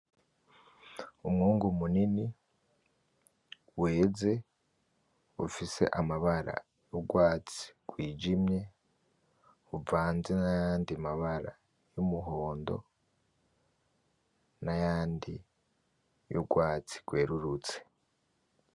Umwungu munini weze ufise amabara y'urwatsi rwijimye ruvanze nayandi mabara y'umuhondo nayandi y'urwatsi rwerurutse